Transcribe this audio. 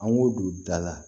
An ŋo don da la